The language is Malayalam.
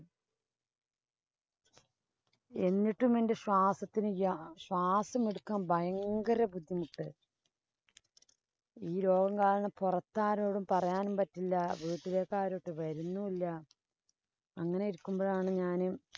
എന്നിട്ടും എന്‍റെ ശ്വാസത്തിന് യാ ശ്വാസം എടുക്കാന്‍ ഭയങ്കര ബുദ്ധിമുട്ട്. ഈ രോഗം കാരണം പുറത്താരോടും പറയാനും പറ്റില്ല, വീട്ടിലേക്കു ആരും ഒട്ടും വരുന്നും ഇല്ല. അങ്ങനെ ഇരിക്കുമ്പോഴാണ് ഞാന്